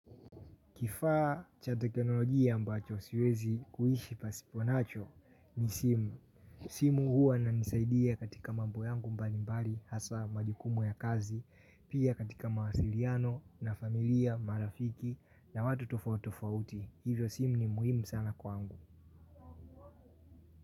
Kifaa cha teknolojia ambacho siwezi kuishi pasiponacho ni simu. Simu huwa inisaidia katika mambo yangu mbalimbali hasaa majukumu ya kazi, pia katika mawasiliano na familia, marafiki na watu tofauti tofauti. Hivyo simu ni muhimu sana kwangu.